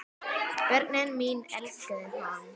Börnin mín elskuðu hann.